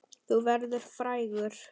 Þú verður frægur!